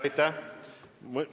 Aitäh!